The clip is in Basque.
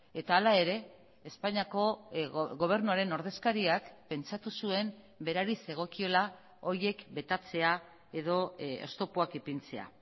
eta hala ere espainiako gobernuaren ordezkariak pentsatu zuen berari zegokiola horiek betatzea edo oztopoak ipintzea